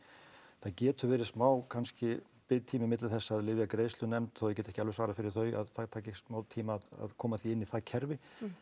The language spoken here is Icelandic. það getur verið smá kannski biðtími milli þess að lyfjagreiðslunefnd þó ég geti ekki alveg svarað fyrir þau að það taki smá tíma að koma því inn í það kerfi